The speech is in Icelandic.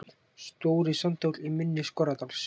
Stóri Sandhóll, í mynni Skorradals.